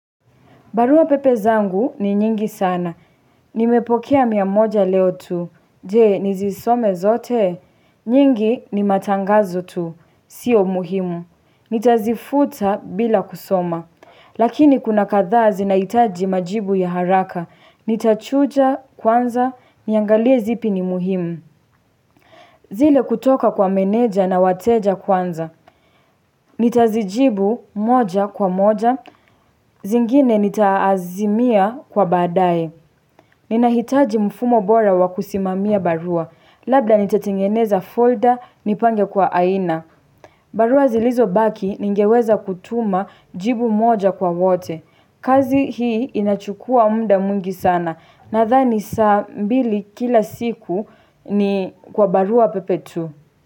Barua pepe zangu ni nyingi sana. Nimepokea mia moja leo tu. Je, nisisome zote. Nyingi ni matangazo tu. Sio muhimu. Nitazifuta bila kusoma. Lakini kuna kadhaa zinahitaji majibu ya haraka. Nitachuja kwanza. Niangalie zipi ni muhimu. Zile kutoka kwa meneja na wateja kwanza. Nitazijibu moja kwa moja. Zingine nitaazimia kwa baadae Ninahitaji mfumo bora wa kusimamia barua Labda nitatengeneza folder nipange kwa aina barua zilizobaki ningeweza kutuma jibu moja kwa wote kazi hii inachukua muda mwingi sana Nathani saa mbili kila siku ni kwa barua pepe tu.